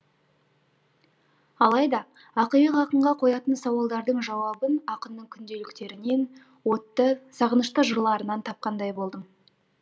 алайда ақиық ақынға қоятын сауалдардың жауабын ақынның күнделіктерінен отты сағынышты жырларынан тапқандай болдым